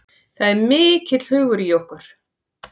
Það er mikill hugur í okkur